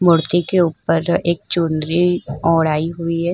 मूर्ति के उपर एक चुनरी ओढ़ाई हुई है।